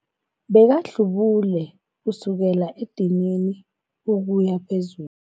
Bekahlubule kusukela edinini ukuya phezulu.